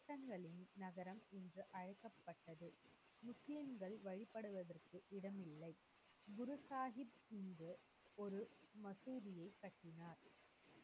யுத்தங்களின் நகரம் என்று அழைக்கப்பட்டது. முஸ்லிம்கள் வழிப்படுவதற்கு இடம் இல்லை. குரு சாஹிப் இங்கு ஒரு மசூதியை கட்டினார்.